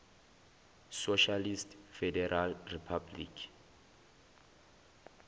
socialist federal republic